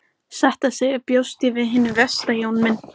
Satt að segja bjóst ég við hinu versta Jón minn.